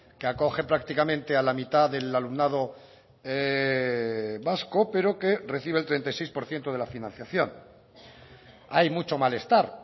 que acoge prácticamente a la mitad del alumnado vasco pero que recibe el treinta y seis por ciento de la financiación hay mucho malestar